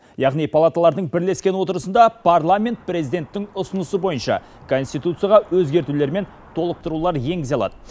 яғни палаталардың бірлескен отырысында парламент президенттің ұсынысы бойынша конституцияға өзгертулер мен толықтырулар енгізе алады